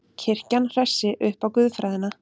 Kirkjan hressi upp á guðfræðina